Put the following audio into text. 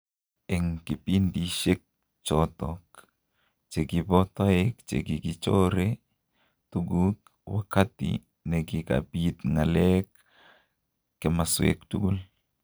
Eng kipindishek chotok chekipo toek chekikichoree tukuk, wakati nekikapit ng'aleek kimaswek tugul